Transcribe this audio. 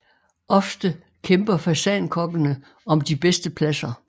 Ofte kæmper fasankokkene om de bedste pladser